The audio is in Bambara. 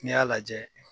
N'i y'a lajɛ